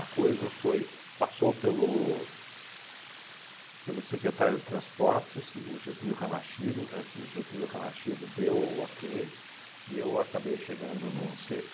coisa foi, passou pelo pelo secretário de transportes, o Getúlio Ranachiro, Ret o Getúlio Ranachiro deu o ok, e eu acabei chegando no cê